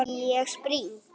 Ég spring.